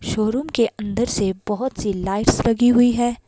Showroom के अंदर से बहुत सी लाइट्स लगी हुई है।